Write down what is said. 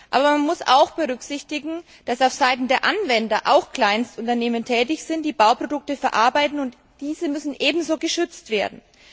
Aber man muss auch berücksichtigen, dass aufseiten der Anwender auch Kleinstunternehmen tätig sind, die Bauprodukte verarbeiten, und diese müssen ebenso geschützt werden.